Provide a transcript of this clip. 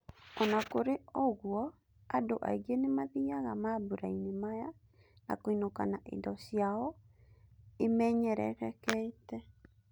Ona kurĩ ũguo, andũ aingĩ nĩmathiaga mambũrainĩ maya na kũinũka na indo ciao imenyererekete.